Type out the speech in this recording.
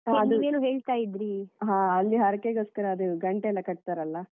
ಅದು ಹ ಅಲ್ಲಿ ಹರಕೆಗೋಸ್ಕರ ಅದು ಘಂಟೆಯೆಲ್ಲ ಕಟ್ತಾರಲ್ಲಾ?